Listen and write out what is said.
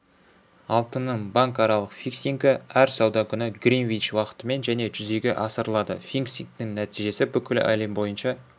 алтынның банкаралық фиксингі әр сауда күні гринвич уақытымен және жүзеге асырылады фиксингтің нәтижесі бүкіл әлем бойынша